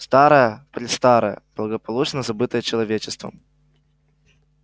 старое-престарое благополучно забытое человечеством